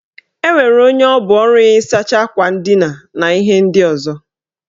Enwere onye ọrụ ya bụ ịsacha akwa ndina na ihe ndị ọzọ